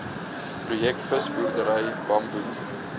projek visboerdery bamboed